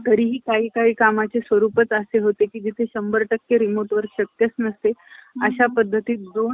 लोकप्रबोधनाच्या मार्गातून या चळवळीला असलेला विरोध मा~ मावळलेक~ मावळेल हे कर्वे यांनी जाणले होते.